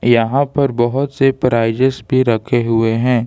यहां पर बहुत से प्राइजेस भी रखे हुए हैं।